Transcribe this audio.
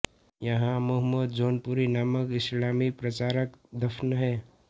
यहाँ मुहम्मद जौनपुरी नामक इस्लामी प्रचारक दफ़न हैं